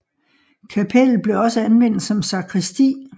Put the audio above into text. Kapellet blev også anvendt som sakristi